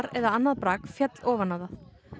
eða annað brak féll ofan á það